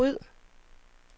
ryd